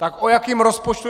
Tak o jakém rozpočtu?